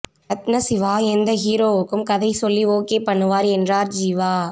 ரத்னசிவா எந்த ஹீரோக்கும் கதை சொல்லி ஓகே பன்னுவார் என்றார் ஜீவா